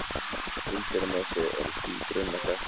Hreindýramosi er hvít runnaflétta.